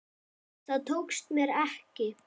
Það tókst mér ekki.